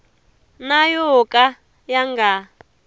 na yo ka ya nga